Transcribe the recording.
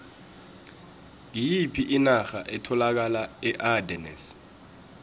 ngiyiphi inarha etholakala eardennes